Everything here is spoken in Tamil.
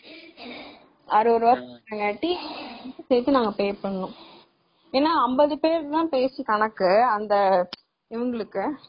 அறுபது ரூபாய் போட்டு நாங்க pay பண்ணோம்.ஏன்னா அம்பது பேர் தான் கணக்கு அந்த இவங்களுக்கு